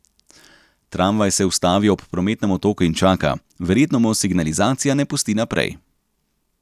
Tramvaj se ustavi ob prometnem otoku in čaka, verjetno mu signalizacija ne pusti naprej.